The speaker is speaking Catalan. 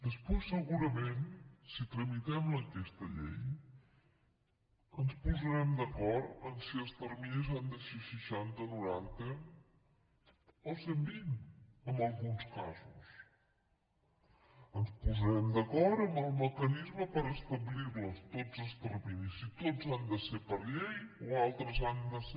després segurament si tramitem aquesta llei ens posarem d’acord en si els terminis han de ser seixanta noranta o cent i vint en alguns casos ens posarem d’acord en el mecanisme per establir los tots els terminis si tots han de ser per llei o altres han de ser